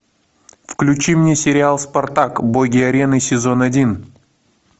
включи мне сериал спартак боги арены сезон один